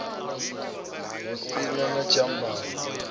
hu si na na tshiambaro